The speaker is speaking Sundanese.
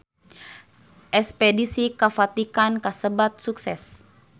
Espedisi ka Vatikan kasebat sukses